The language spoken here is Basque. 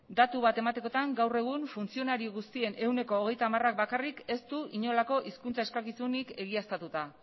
datu bat ematekotan gaur egun funtzionari guztien ehuneko hogeita hamarak bakarrik ez du inolako hizkuntza eskakizunik egiaztatuta